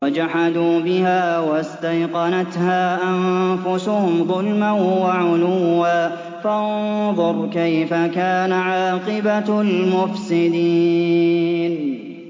وَجَحَدُوا بِهَا وَاسْتَيْقَنَتْهَا أَنفُسُهُمْ ظُلْمًا وَعُلُوًّا ۚ فَانظُرْ كَيْفَ كَانَ عَاقِبَةُ الْمُفْسِدِينَ